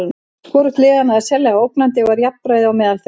Hvorugt liðanna er sérlega ógnandi og er jafnræði á meðal þeirra.